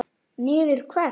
Niður hvert?